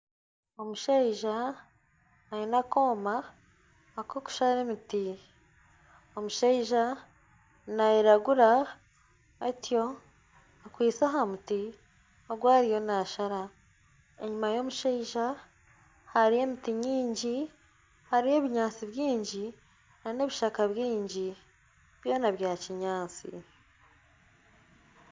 Omushaija aine akoma kokushara emiti, omushaija nairagura atyo akwitse aha muti ogu ariyo naashara enyima y'omushaija hariyo emiti nyingi hariyo ebinyaatsi bingi n'ebishaka bingi byona bya kinyaatsi.